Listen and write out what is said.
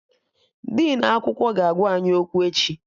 Dinu akwụkwọ ga-agwa anyị okwu echi